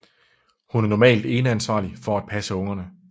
Hun er normalt eneansvarlig for at passe ungerne